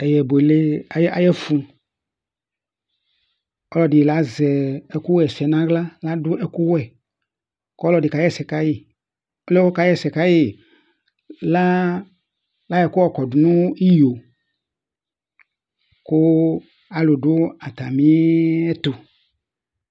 Eyɛbʋele ayʋ ɛfʋ Ɔlɔdi azɛ ɛku ɣɛsɛ nʋ aɣla ladu ɛku wɛ kʋ ɔlɔdi kaɣɛsɛ kayi Ɔliɛ kʋ ɔkaɣɛsɛ kayi layɔ ɛku yɔkɔdu nʋ iyo kʋ alu du atami ɛtu